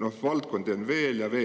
neid valdkondi on veel ja veel.